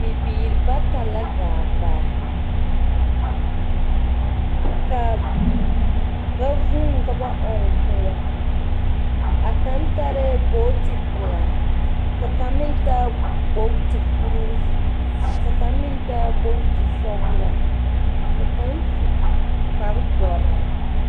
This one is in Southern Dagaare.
Bibiir bata la gaa baa. Ka ba vūū ka ba ɔŋ kõɔ. A kaŋ tarɛɛ booti pelaa, Ka kaŋ mentaa gbogti kuruu. Ka kaŋ meŋ taa gbogti sɔglaa, ka kaŋ su kpardoɔr.